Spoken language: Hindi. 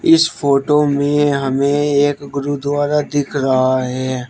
इस फोटो में हमें एक गुरुद्वारा दिख रहा है।